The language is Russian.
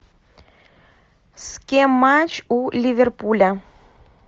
с кем матч у ливерпуля